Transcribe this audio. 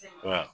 Nka